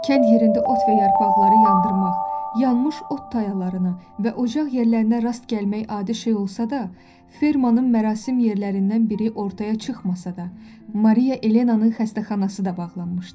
Kənd yerində ot və yarpaqları yandırmaq, yanmış ot tayalarına və ocaq yerlərinə rast gəlmək adi şey olsa da, fermanın mərasim yerlərindən biri ortaya çıxmasa da, Mariya Elenanın xəstəxanası da bağlanmışdı.